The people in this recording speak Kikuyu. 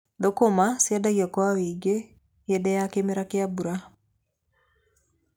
Thũkũma ciendagio kwa ũingĩ hĩndĩ ya kĩmera kia mbura.